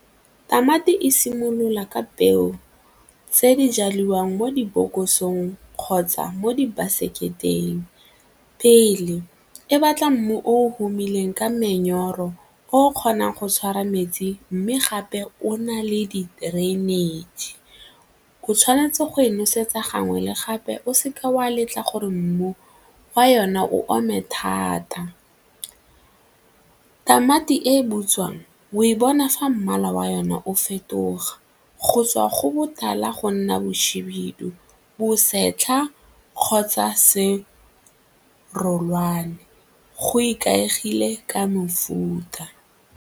Tamati e simolola ka peo tse di jaliwang mo dibokosong kgotsa mo di baseketeng pele, e batla mmu o tumileng ka menyoro o kgonang go tshwara metsi mme gape o na le drainage, o tshwanetse go e nosetsa gangwe le gape o seke wa letla gore mmu fa yona o ome thata. Tamati e e butswang o e bona fa mmala wa yona o fetoga go tswa go botala go nna bohibidu, bosetlha kgotsa serolwane go ikaegile ka mofuta.